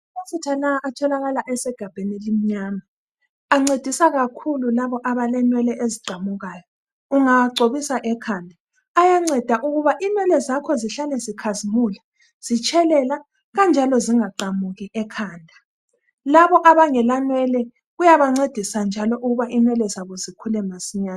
Amafutha lawa atholakala esegabheni elimnyama. Ancedisa kakhulu labo abalenwele eziqamukayo. Ungawagcobisa ekhanda ayanceda ukuba inwele zakho zihlale zikhazimula , zitshelela kanjalo zingaqamuki ekhanda. Labo abangela nwele kuyabancedisa njalo ukuba inwele zabo zikhule masinyane.